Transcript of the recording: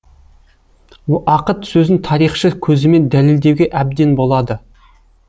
ақыт сөзін тарихшы көзімен дәлелдеуге әбден болады